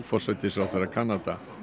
forsætisráðherra Kanada